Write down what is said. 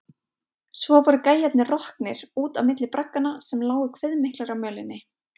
Svo voru gæjarnir roknir, út á milli bragganna sem lágu kviðmiklir á mölinni.